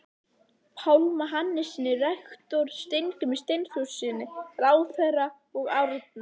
Pálma Hannessyni rektor, Steingrími Steinþórssyni ráðherra og Árna